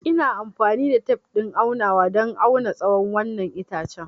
Ina amfani da tef ɗin aunawa don auna tsawon wannan itace.